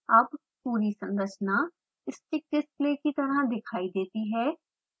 अब पूरी संरचना स्टिक्स डिस्प्ले की तरह दिखाई देती है